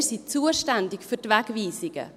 Wir sind zuständig für die Wegweisungen.